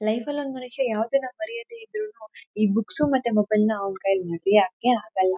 Life ಅಲ್ಲಿ ಒಂದ ಮನುಷ್ಯ ಯಾವದನ್ನೇ ಮರಯದೇನೆ ಇದ್ರುನು ಈ ಬುಕ್ಸ್ ಮತ್ತೆ ಮೊಬೈಲ್ ನ ಅವ್ನ ಕೈಯಲ್ಲಿ ಬಿಟಿಯಾಕೆ ಆಗಲ್ಲಾ.